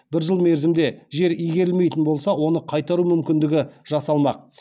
бір жыл мерзімде жер игерілмейтін болса оны қайтару мүмкіндігі жасалмақ